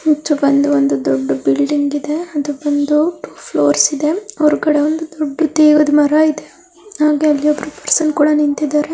ಹೆಚ್ಚು ಬಂದು ಒಂದು ದೊಡ್ದು ಬಿಲ್ಡಿಂಗ್ ಇದೆ. ಅದು ಬಂದು ಟೂ ಫ್ಲೂರ್ಸ್ ಇದೆ. ಹೊರಗಡೆ ಒಂದು ದೊಡ್ಡ ದೆವ್ವದ ಮರಾ ಇದೆ. ಹಾಗೆ ಅಲ್ಲಿ ಒಬ್ಬರು ಪರ್ಸನ್ ಕೂಡಾ ನಿಂತಿದ್ದಾರೆ.